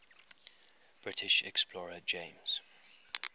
british explorer james